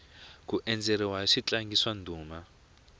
ku endzeriwa hi switlangi swa ndhuma